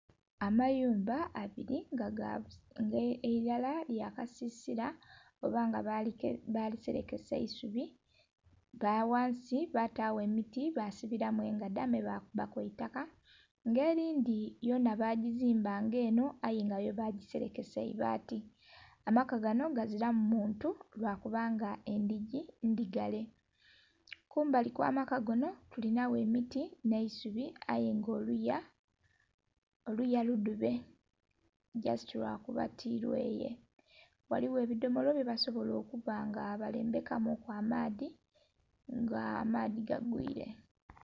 Amayumba abili nga elala lya kasisila oba nga baliselekesa isubi nga ghansi batagho emiti basibilamu engadha me bakubaku eitaka nga eyindhi yonha bazimba nga enho aye nga yo bagaselekesa ibaati. Amaka ganho gazilamu muntu lwakubanga endhigi ndhigale, kumbali okwamaka ganho tuli nhagho emiti nh'eisubi aye nga oluya ludhube jasiti lwakuba tilweye ghaligho ebidomolo byebasobola okubanga balembeka muku amaadhi nga amaadhi gagwile.